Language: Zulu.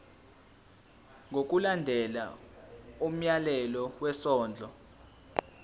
ngokulandela umyalelo wesondlo